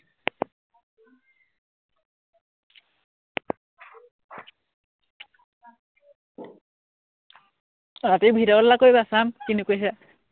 আহ ৰাতি video call এটা কৰিবা, চাম কিনো কৰিছা